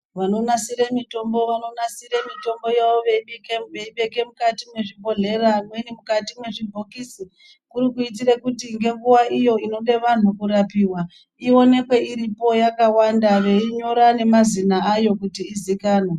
Vanonasira mitombo vanonasira Mitombo yavo veibeka mukati mezvibhedhlera amweni mukati mezvibhokisi kuri kuitira kuti ngenguwa iyo inoda vantu kurapiwa ionekwe iripo yakawanda yeinyira nemazina ayo kuti izikanwe.